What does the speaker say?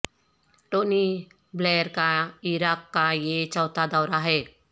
Tony Blair کا عراق کا یہ چوتھا دورہ ہے